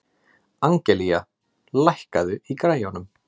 Angelía, lækkaðu í græjunum.